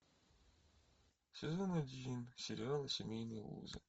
сезон один сериала семейные узы